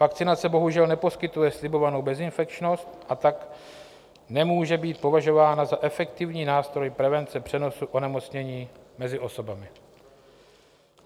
Vakcinace bohužel neposkytuje slibovanou bezinfekčnost, a tak nemůže být považována za efektivní nástroj prevence přenosu onemocnění mezi osobami.